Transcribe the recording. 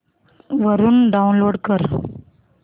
वरून डाऊनलोड कर